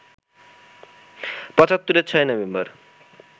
পঁচাত্তরের ৬ই নভেম্বর